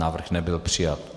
Návrh nebyl přijat.